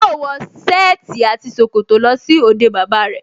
Yóò wọ sẹ́ẹ̀tì àti ṣòkòtò lọ sí òde bàbá rẹ̀